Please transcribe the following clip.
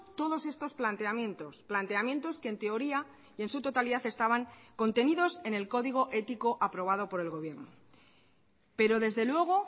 todos estos planteamientos planteamientos que en teoría y en su totalidad estaban contenidos en el código ético aprobado por el gobierno pero desde luego